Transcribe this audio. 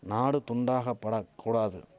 நாடு துண்டாகபடக் கூடாது